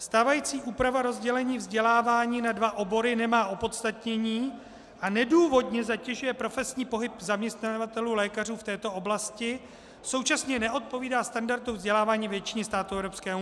Stávající úprava rozdělení vzdělávání na dva obory nemá opodstatnění a nedůvodně zatěžuje profesní pohyb zaměstnavatelů lékařů v této oblasti, současně neodpovídá standardům vzdělávání většiny států EU.